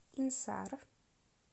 инсар